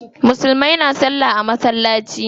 Musulmai na salla a masallaci.